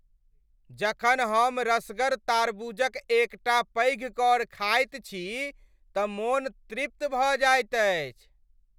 जखन हम रसगर तारबूजक एकटा पैघ कौर खाइत छी तँ मोन तृप्त भऽ जाइत अछि।